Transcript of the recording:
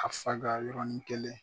Ka faga yɔrɔnin kelen